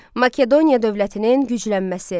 Makedoniya dövlətinin güclənməsi.